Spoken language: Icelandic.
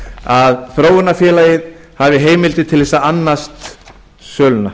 að þróunarfélagið hafi heimildir til þess að annast söluna